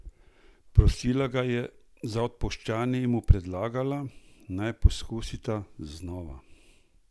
Prosila ga je odpuščanja in mu predlagala, naj poskusita znova!